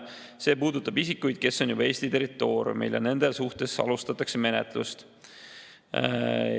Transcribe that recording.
See puudutab isikuid, kes on juba Eesti territooriumil, ja nende suhtes alustatakse menetlust.